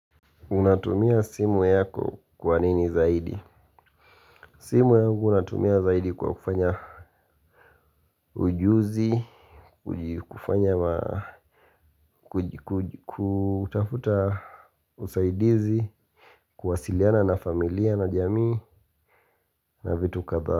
Unatumia simu yako kwa nini zaidi? Simu yagu unatumia zaidi kwa kufanya ujuzi, kufanya kutafuta, usaidizi, kuwasiliana na familia, na jamii, na vitu kadhaa.